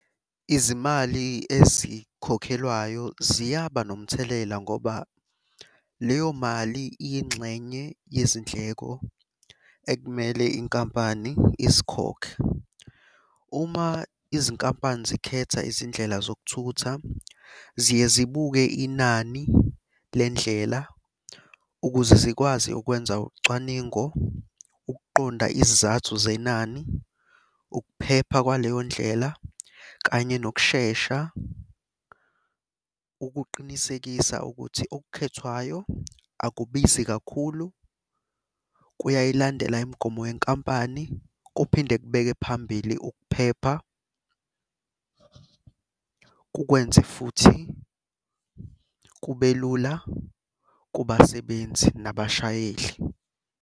Izimali ezikhokhelwayo ziyaba nomthelela ngoba leyo mali iyingxenye yezindleko ekumele inkampani izikhokhe. Uma izinkampani zikhetha izindlela zokuthutha ziye zibuke inani lendlela ukuze zikwazi ukwenza ucwaningo, ukuqonda izizathu zenani, ukuphepha kwaleyo ndlela, kanye nokushesha ukuqinisekisa ukuthi okukhethwayo akubizi kakhulu. Kuyayilandela imigomo yenkampani kuphinde kubeke phambili ukuphepha. Kukwenze futhi kube lula kubasebenzi nabashayeli.